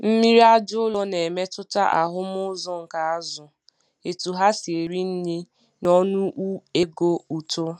Mmiri aja ụlọ na-emetụta ahụm uzo nke azụ, etu ha si eri nri, na ọnụego uto.